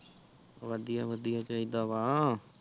ਵਧੀਆ ਵਧੀਆ ਚਾਹੀਦਾ ਵਾ